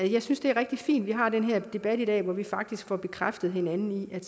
jeg synes det er rigtig fint at vi har den her debat i dag hvor vi faktisk får bekræftet hinanden i at